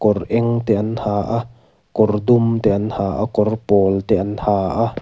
kawr eng te an ha kawr dum te an ha a kawr pawl te an ha a.